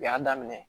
U y'a daminɛ